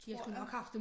Tror jeg